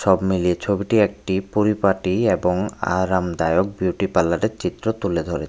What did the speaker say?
সব মিলিয়ে ছবিটি একটি পরিপাটি এবং আরামদায়ক বিউটিপার্লারের চিত্র তুলে ধরে